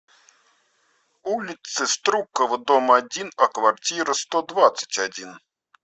улице струкова дом один о квартира сто двадцать один